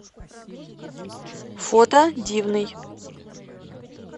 фото дивный